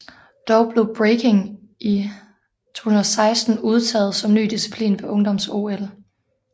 Dog blev Breaking i 2016 udtaget som ny disciplin ved ungdoms OL